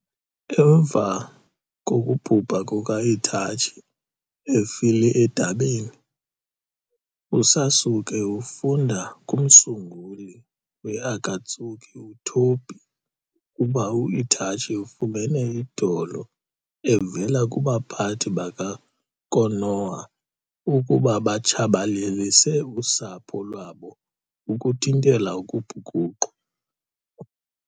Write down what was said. Emva kokuba u-Itachi efile edabini, uSasuke ufunda kumsunguli we-Akatsuki uTobi ukuba u-Itachi ufumene i-odolo evela kubaphathi baka-Konoha ukuba batshabalalise usapho lwabo ukuthintela ukubhukuqwa.